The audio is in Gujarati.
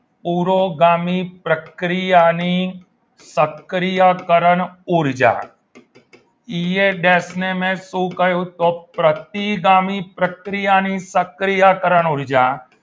પુરોગામી પ્રક્રિયાની સક્રિયકરણ ઊર્જા શું કહ્યું તો પ્રતિગામી પ્રક્રિયાની સક્રિયકરણ ઊર્જા